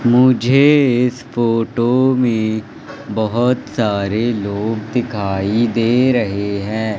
मुझे इस फोटो में बहुत सारे लोग दिखाई दे रहे है।